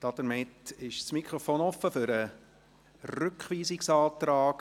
Damit ist das Mikrofon offen für den Rückweisungsantrag.